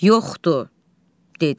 Yoxdu, dedi.